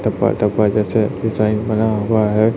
टप्पा टप्पा जैसे डिजाइन बना हुआ है।